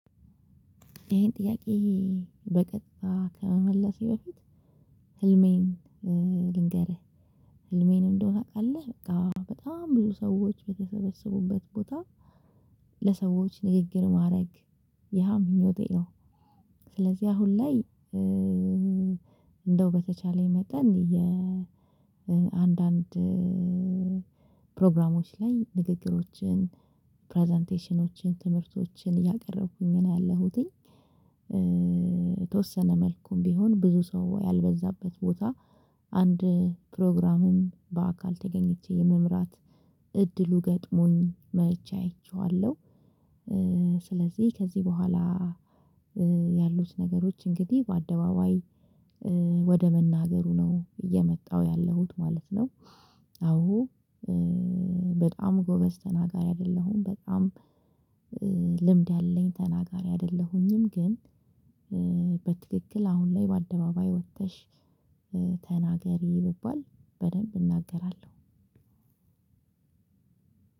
ይሄን ጥያቄ በቀጥታ ከመመለሴ በፊት ህልሜን ልንገርህ ህልሜን እንደው ታውቃለህ በጣም ብዙ ሰዎች በተሰበሰቡበት ቦታ ለሰዎች ንግግር ማድረግ ያምኞቴ ነው። ስለዚህ አሁን ላይ እንደው በተቻለኝ መጠን የአንዳንድ አንዳንድ ፕሮግራሞች ላይ ንግግሮችን ፕረዘንቴሽኖችን ትምህርቶችን እያቀረብኩኝ ነው ያለሁትኝ። የተወሰነ መልኩም ቢሆን ብዙ ሰው ያልበዛበት ቦታ አንድ ፕሮግራምም በአካል ተገኝቼ የመምራት እድሉ ገጥሞኝ መቼ አይቼዋለሁ። ስለዚህ ከዚህ በኋላ ያሉት ነገሮች እንግዲህ በአደባባይ ወደ መናገሩ ነው እየመጣው ያለሁት ማለት ነው። አሁን በጣም ጎበዝ ተናጋሪ አይደለሁም በጣም ልምድ ያለኝ ተናጋሪ አይደለሁኝም። ግን በትክክል አሁን ላይ በአደባባይ ወጥተሽ ተናገሪ ብባል በደንብ እናገራለሁ።